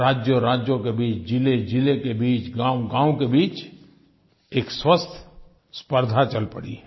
राज्योंराज्यों के बीच ज़िलेज़िले के बीच गाँवगाँव के बीच एक स्वस्थ स्पर्द्धा चल पड़ी है